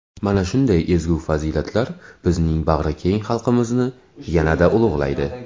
Mana shunday ezgu fazilatlar bizning bag‘rikeng xalqimizni yanada ulug‘laydi.